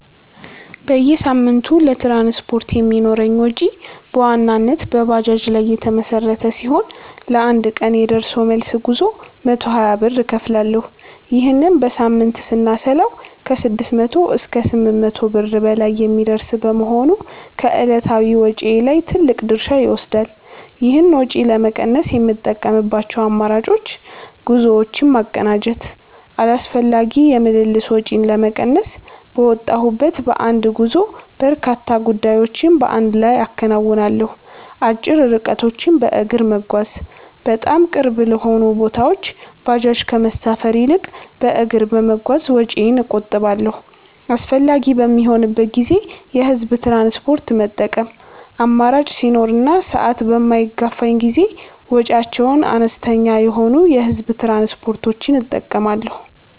በየሳምንቱ ለትራንስፖርት የሚኖረኝ ወጪ በዋናነት በባጃጅ ላይ የተመሠረተ ሲሆን፣ ለአንድ ቀን የደርሶ መልስ ጉዞ 120 ብር እከፍላለሁ። ይህንን በሳምንት ስናሰላው ከ600 እስከ 800 ብር በላይ የሚደርስ በመሆኑ ከዕለታዊ ወጪዬ ላይ ትልቅ ድርሻ ይወስዳል። ይህን ወጪ ለመቀነስ የምጠቀምባቸው አማራጮች፦ ጉዞዎችን ማቀናጀት፦ አላስፈላጊ የምልልስ ወጪን ለመቀነስ፣ በወጣሁበት በአንድ ጉዞ በርካታ ጉዳዮችን በአንድ ላይ አከናውናለሁ። አጭር ርቀቶችን በእግር መጓዝ፦ በጣም ቅርብ ለሆኑ ቦታዎች ባጃጅ ከመሳፈር ይልቅ በእግር በመጓዝ ወጪዬን እቆጥባለሁ። አስፈላጊ በሚሆንበት ጊዜ የህዝብ ትራንስፖርት መጠቀም፦ አማራጭ ሲኖር እና ሰዓት በማይገፋኝ ጊዜ ወጪያቸው አነስተኛ የሆኑ የህዝብ ትራንስፖርቶችን እጠቀማለሁ።